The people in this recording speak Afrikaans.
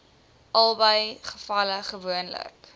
albei gevalle gewoonlik